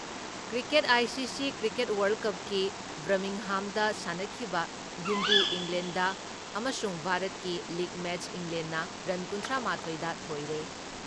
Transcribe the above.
Cricket ICC. Cricket world ꯀꯞꯀꯤ ꯕꯔꯃꯤꯡꯍꯥꯝꯗ ꯁꯥꯟꯅꯈꯤꯕ ꯌꯨꯝꯕꯨ ꯏꯪꯂꯦꯟꯗ ꯑꯃꯁꯨꯡ ꯚꯥꯔꯠꯀꯤ ꯂꯤꯛ ꯃꯦꯠꯁ ꯏꯪꯂꯦꯟꯅ ꯔꯟ ꯀꯨꯟꯊ꯭ꯔꯥ ꯃꯥꯊꯣꯏꯗ ꯊꯣꯏꯔꯦ ꯫